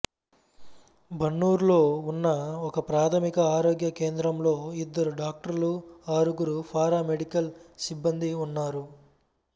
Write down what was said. బన్నూరులో ఉన్న ఒకప్రాథమిక ఆరోగ్య కేంద్రంలో ఇద్దరు డాక్టర్లు ఆరుగురు పారామెడికల్ సిబ్బందీ ఉన్నారు